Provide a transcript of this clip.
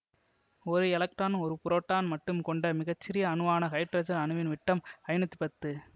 ஒரு எலக்ட்ரான் ஒரு புரோட்டான் மட்டும் கொண்ட மிக சிறிய அணுவான ஹைட்ரஜன் அணுவின் விட்டம் ஐநூற்றி பத்து